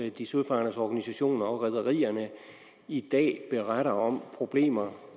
at de søfarendes organisationer og rederierne i dag beretter om problemer